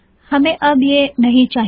हमे अब यह नहीं चाहिए